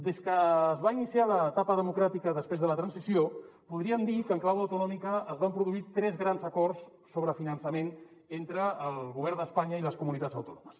des que es va iniciar l’etapa democràtica després de la transició podríem dir que en clau autonòmica es van produir tres grans acords sobre finançament entre el govern d’espanya i les comunitats autònomes